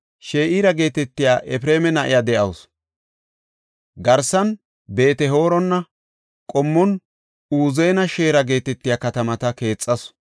She7ira geetetiya Efreema na7iya de7awusu; Garsan Beet-Horona, Qommon Uzen-Sheera geetetiya katamata keexasu.